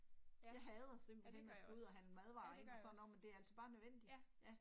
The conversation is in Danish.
Ja, ja det gør jeg også, ja det gør jeg også, ja